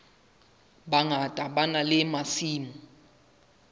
bangata ba na le masimo